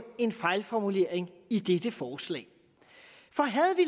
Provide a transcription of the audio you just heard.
en fejlformulering i dette forslag for havde vi